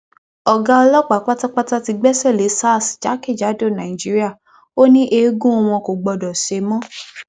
ọgá ọlọpàá pátápátá ti gbẹsẹ lé sars jákèjádò nàìjíríà ò ní eégún wọn kò gbọdọ ṣe mọ